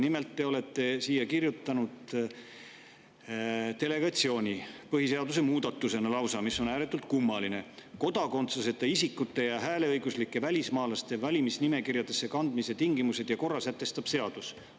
Nimelt, te olete siia kirjutanud põhiseaduse muudatusena ühe delegeerimise, mis on ääretult kummaline: "Kodakondsuseta isikute ja hääleõiguslike välismaalaste valimisnimekirjadesse kandmise tingimused ja korra sätestab seadus.